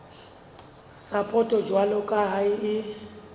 sapoto jwalo ka ha e